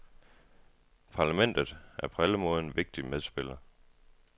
Parlamentet er på alle måder en vigtig medspiller.